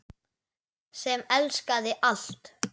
Sem elskaði allt.